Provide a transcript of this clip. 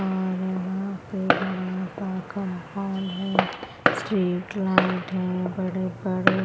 और यहाँ पे बड़ा सा कंपाउंड है स्ट्रीटलाइट है बड़े बड़े --